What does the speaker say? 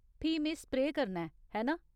फ्ही में स्प्रेऽ करना ऐ, है ना ?